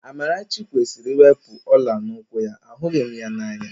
Amarachi kwesịrị iwepu ọ̀lá n'úkwù ya, ahụghị m ya n'anya